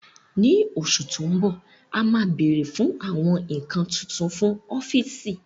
Ní oṣù tó ń bọ̀, a máa bèrè fún àwọn nǹkan tuntun fún ọ́fíìsì